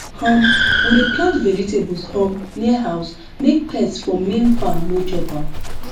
um we dey plant vegetables um near house make pests from main farm no chop am